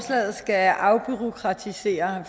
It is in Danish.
jeg har